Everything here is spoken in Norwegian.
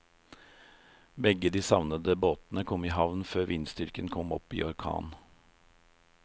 Begge de savnede båtene kom i havn før vindstyrken kom opp i orkan.